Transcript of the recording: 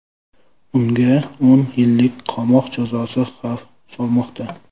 Unga o‘n yillik qamoq jazosi xavf solmoqda.